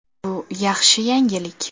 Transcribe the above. Bu yaxshi yangilik.